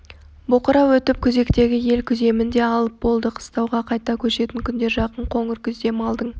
боқырау өтіп күзектегі ел күземін де алып болды қыстауға қайта көшетін күндер жақын қоңыр күзде малдың